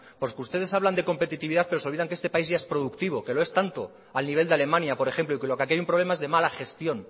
ustedes hablan de competitividad pero se olvidan de que este país ya es productivo que los es tanto al nivel de alemania por ejemplo y que lo que aquí hay es un problema de mala gestión